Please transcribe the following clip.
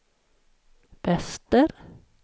väster